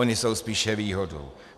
Ony jsou spíše výhodou.